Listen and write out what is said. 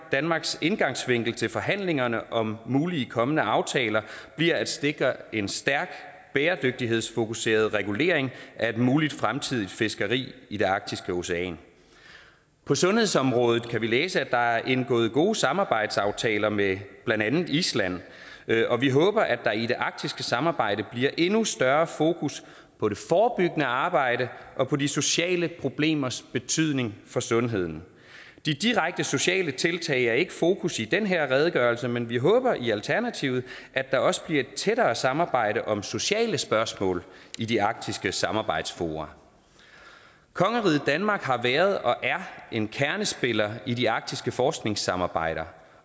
danmarks indgangsvinkel til forhandlingerne om mulige kommende aftaler bliver at sikre en stærk bæredygtighedsfokuseret regulering af et muligt fremtidigt fiskeri i det arktiske ocean på sundhedsområdet kan vi læse at der er indgået gode samarbejdsaftaler med blandt andet island og vi håber at der i det arktiske samarbejde bliver endnu større fokus på det forebyggende arbejde og på de sociale problemers betydning for sundheden de direkte sociale tiltag er ikke i fokus i den her redegørelse men vi håber i alternativet at der også bliver et tættere samarbejde om sociale spørgsmål i de arktiske samarbejdsfora kongeriget danmark har været og er en kernespiller i de arktiske forskningssamarbejder